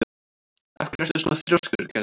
Af hverju ertu svona þrjóskur, Gerður?